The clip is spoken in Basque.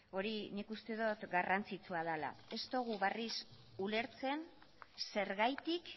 hori nik uste dot garrantzitsua dela ez dogu berriz ulertzen zergatik